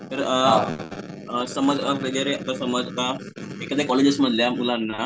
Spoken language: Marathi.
तर अ समज वगैरे समज आता एखाद्या कॉलेज मधल्या मुलांना